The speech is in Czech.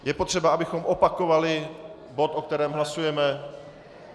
Je potřeba, abychom opakovali bod, o kterém hlasujeme?